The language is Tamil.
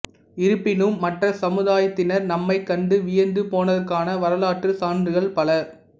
இருப்பினும் மற்ற சமுதாயத்தினர் நம்மை கண்டு வியந்து போனதற்கான வரலாற்று சான்றுகள பல